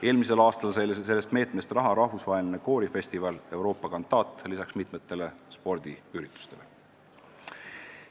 Eelmisel aastal sai selle meetme raames raha lisaks mitmetele spordiüritustele ka rahvusvaheline koorifestival Europa Cantat.